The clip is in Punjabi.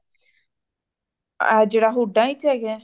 ਏ ਜੇੜਾ ਹੁੱਡਾ ਚ ਹੇਗਾਂ